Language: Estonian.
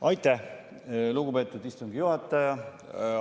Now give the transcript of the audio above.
Aitäh, lugupeetud istungi juhataja!